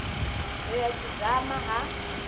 ri a tshi dzama ha